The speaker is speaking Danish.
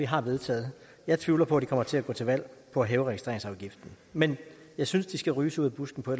har vedtaget jeg tvivler på de kommer til at gå til valg på at hæve registreringsafgiften men jeg synes de skal ryges ud af busken på